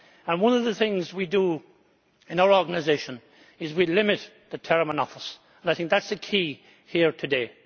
One of the things we do in our organisation is to limit the term of office. I think that is the key here today.